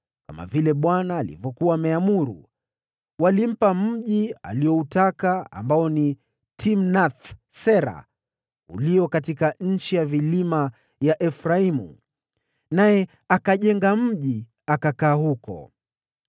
kama vile Bwana alivyokuwa ameamuru. Walimpa mji alioutaka, ambao ni Timnath-Sera ulio katika nchi ya vilima ya Efraimu. Naye akajenga mji, akakaa huko.